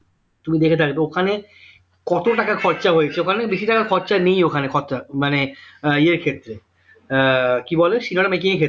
তুমি দেখে থাকবে ওখানে কত টাকা খরচা হয়েছে ওখানে বেশি টাকা খরচা নেই ওখানে খরচা মানে আহ ইয়ের ক্ষেত্রে আহ কি বলে cinema টা making এর ক্ষেত্রে